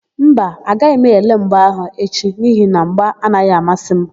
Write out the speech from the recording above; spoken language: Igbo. Mba, agaghị m ele mgba áhụ̀ echi n'ihi na mgba anaghị amasị m.